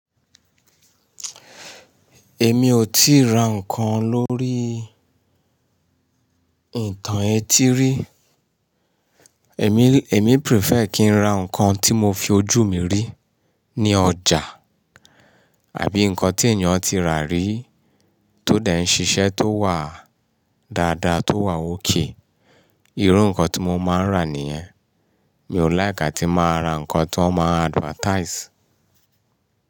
Èmi ò tíì ra nǹkan lórí ìtàn étí rí. Èmi, èmi prefer kí n ra nǹkan tí mo fi ojú mi rí ní ọjà àbí nǹkan tí èèyàn ti rà rí tó dẹ n ṣiṣẹ́ tó wà dáadáa tó wà okay. Irú nǹkan tí mo máa ń rà nìyẹn. Mi ò like atí máa ra nǹkan tan máa n advertise.